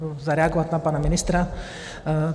Budu reagovat na pana ministra.